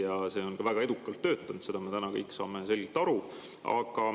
Ja see on ka väga edukalt töötanud, sellest me kõik saame selgelt aru.